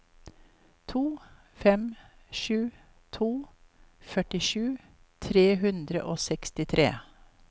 to fem sju to førtisju tre hundre og sekstitre